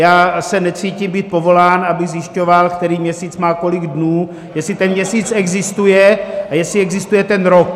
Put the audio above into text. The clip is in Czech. Já se necítím být povolán, abych zjišťoval, který měsíc má kolik dnů, jestli ten měsíc existuje a jestli existuje ten rok.